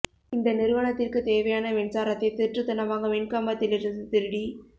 இந்த நிறுவனத்திற்கு தேவையான மின்சாரத்தை திருட்டுத்தனமாக மின் கம்பத்தில் இருந்து திருடி